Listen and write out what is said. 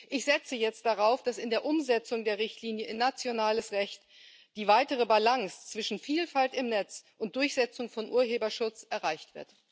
Ich setze jetzt darauf, dass in der Umsetzung der Richtlinie in nationales Recht die weitere Balance zwischen Vielfalt im Netz und Durchsetzung von Urheberschutz erreicht wird.